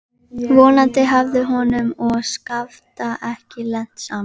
Vonandi hafði honum og Skafta ekki lent saman.